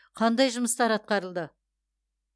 қандай жұмыстар атқарылды